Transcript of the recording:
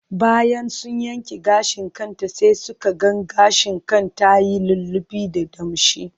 Bayan sun yanke gashin kanta sai suka ga gashin kan ta ya lullube da damshi.